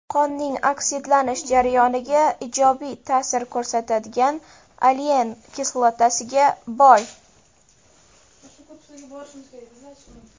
Qonning oksidlanish jarayoniga ijobiy ta’sir ko‘rsatadigan olein kislotasiga boy.